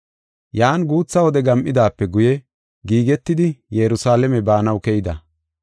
Yan guutha wode gam7idaape guye giigetidi Yerusalaame baanaw keyida.